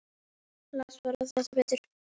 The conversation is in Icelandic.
Las bara það besta.